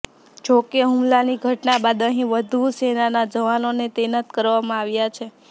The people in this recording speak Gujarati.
જોકે હુમલાની ઘટના બાદ અહીં વધુ સેનાના જવાનોને તૈનાત કરવામાં આવ્યા છે